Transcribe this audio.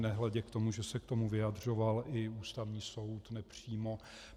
Nehledě k tomu, že se k tomu vyjadřoval i Ústavní soud, nepřímo.